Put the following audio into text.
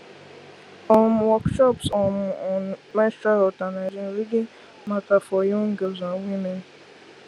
um workshops um on menstrual health and hygiene really matter for young girls and women